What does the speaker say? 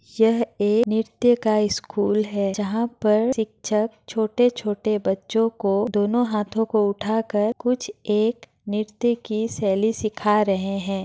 यह एक नृत्य का स्कूल है जहाँ पर छिक्छक छोटे-छोटे बच्चों को दोनों हाथों को उठा कर कुछ एक नृत्य की सैली सीखा रहे हैं।